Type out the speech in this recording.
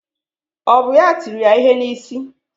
Ọ bụ ya tiri ya ihe n'isi?